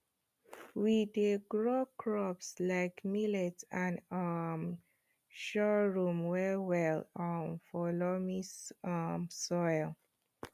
we dey grow crops like millet and um sorghum well well um for loamy um soil